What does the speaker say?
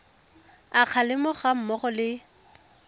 a kgalemo ga mmogo le